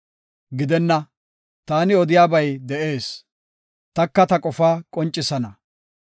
Gidenna, taani odiyabay de7ees; taka ta qofaa qoncisana.